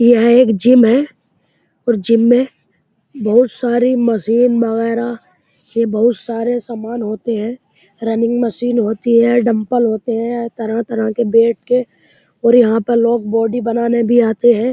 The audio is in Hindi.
यह एक जिम है और जिम में बोहोत सारी मशीन वगैरा ये बोहोत सारे सामान होते हैं। रनिंग मशीन होती हैं। डम्बल होते हैं तरह-तरह के बैठ के और यहां पे लोग बॉडी बनाने भी आते हैं।